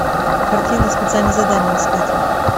картина специальное задание искать